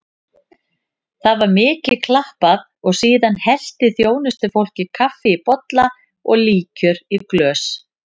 Það var mikið klappað og síðan hellti þjónustufólkið kaffi í bolla og líkjör í glös.